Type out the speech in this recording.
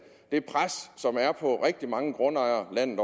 det pres som er på rigtig mange grundejere landet